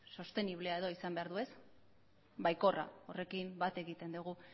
sosteniblea edo izan behar du baikorra horrekin bat egiten dugu